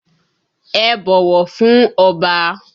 Ẹ bọ̀wọ̀ fún Ọba!